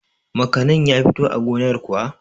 makanin ya fito a gonar kuwa?